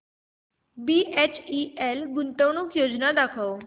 BHEL गुंतवणूक योजना दाखव